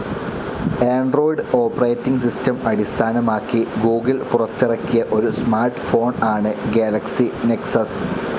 Android operating system അടിസ്ഥാനമാക്കി Google പുറത്തിറക്കിയ ഒരു സ്മാർട്ട്‌ ഫോൺ ആണ്‌ ഗാലക്സി നെക്സസ്.